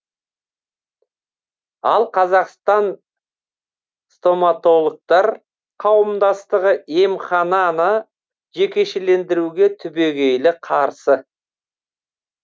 ал қазақстан стоматологтар қауымдастығы емхананы жекешелендіруге түбегейлі қарсы